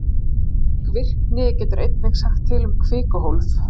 Slík virkni getur einnig sagt til um kvikuhólf.